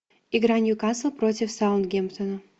игра ньюкасл против саутгемптона